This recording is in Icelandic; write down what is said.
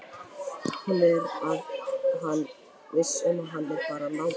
Hún er viss um að hann er bara að látast.